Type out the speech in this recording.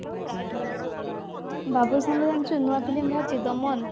ବାବୁସାନ ର ଜାଣିଛୁ ନୂଆ film ବାହାରିଛି ଦମନ